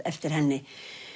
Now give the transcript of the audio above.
eftir henni